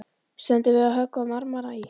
Stendur við að höggva marmara í